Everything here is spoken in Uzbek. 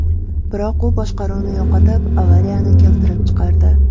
Biroq u boshqaruvni yo‘qotib, avariyani keltirib chiqardi.